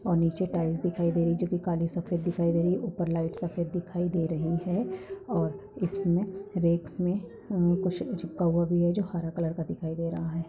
और निचे टाइल्स दिखाई दे रही है जोकी काली सफेद दिखाई दे रही है उपर लाइट सफेद दिखाई दे रही है और इसमे रैक मे कुछ चिपका हुए है जो हरा कलर का दिखाई दे रहे है।